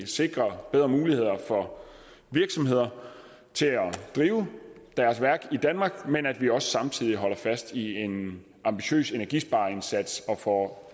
sikrer bedre muligheder for virksomheder til at drive deres værk i danmark samtidig holder fast i en ambitiøs energispareindsats og får